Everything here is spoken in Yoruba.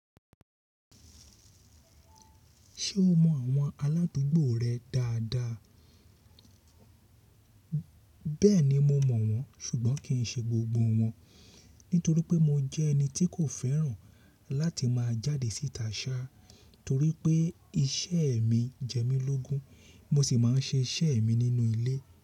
Ṣé o mọ àwọn aládùúgbò rẹ dáadáa? Bẹ́ẹ̀ni mo mọ̀ wọ́n ṣùgbọ́n kì í ṣe gbogbo wọ́n, nítorí pé mo jẹ́ ẹni tí kò fẹ́ràn láti máa jáde síta sá torí pé iṣẹ́ mi jẹ́ mí lógun mo sì máa n ṣe iṣẹ́ mi nínú ilé.